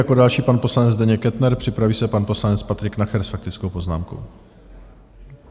Jako další pan poslanec Zdeněk Kettner, připraví se pan poslanec Patrik Nacher s faktickou poznámkou.